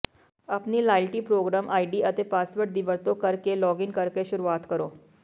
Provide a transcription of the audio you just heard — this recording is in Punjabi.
ਆਪਣੀ ਲਾਇਲਟੀ ਪ੍ਰੋਗਰਾਮ ਆਈਡੀ ਅਤੇ ਪਾਸਵਰਡ ਦੀ ਵਰਤੋਂ ਕਰਕੇ ਲੌਗਇਨ ਕਰਕੇ ਸ਼ੁਰੂਆਤ ਕਰੋ